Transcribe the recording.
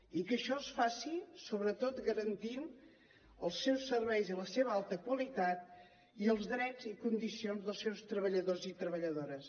i que això es faci sobretot garantint els seus serveis i la seva alta qualitat i els drets i condicions dels seus treballadors i treballadores